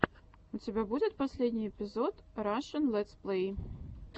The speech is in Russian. у тебя будет последний эпизод рашн летсплей